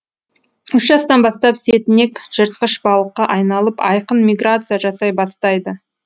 үш жастан бастап сетінек жыртқыш балыққа айналып айқын миграция жасай бастайды